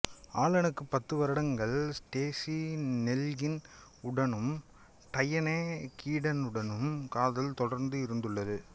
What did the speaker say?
ஆலனுக்கு பத்து வருடங்கள் Stacey Nelkin உடனும் டையனெ கீடனுடனும் காதல் தொடர்பு இருந்துள்ளது